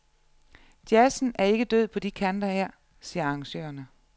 Jazzen er ikke død på de kanter her, siger arrangørerne.